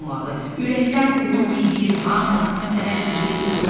Ürəkdən uğur diləyir hamı, sənə diləyir uğur.